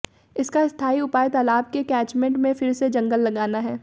इसका स्थाई उपाय तालाब के कैचमेंट में फिर से जंगल लगाना है